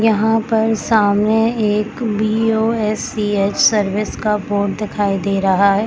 यहाँ पर सामने एक बीओएससीएच सर्विस का बोर्ड दिखाई दे रहा है।